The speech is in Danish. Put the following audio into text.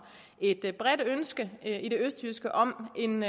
et bredt ønske i det østjyske om en